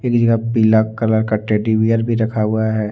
एक जगह पर पीला कलर का टेडी बेयर भी रखा हुआ है।